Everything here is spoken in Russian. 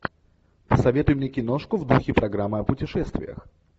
посоветуй мне киношку в духе программы о путешествиях